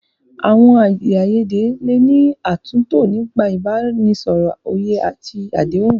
Àwọn èdè àìyedè lè ní àtúntò nípa ìbánisọ̀rọ̀, òye àti àdéhùn.